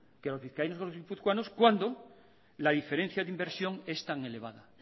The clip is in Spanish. que a los vizcaínos y los guipuzcoanos cuando la diferencia de inmersión es tan elevada